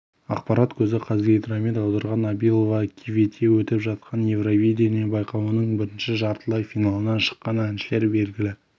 ақпарат көзі қазгидромет аударған абилова кивете өтіп жатқан евровидение байқауының бірінші жартылай финалына шыққан әншілер белгілі